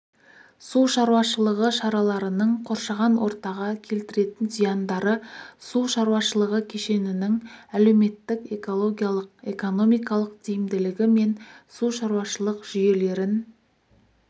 су шаруашылығы шараларының қоршаған ортаға келтіретін зияндары су шаруашылығы кешенінің әлеуметтік-экологиялық экономикалық тиімділігі мен су шаруашылық жүйелерін